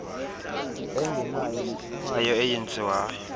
engenayo nephumayo eyenziwayo